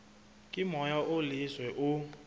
ke moya o leswe o